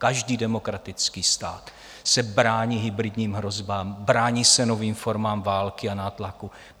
Každý demokratický stát se brání hybridním hrozbám, brání se novým formám války a nátlaku.